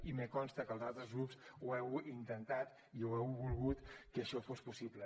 i em consta que els altres grups ho heu intentat i heu volgut que això fos possible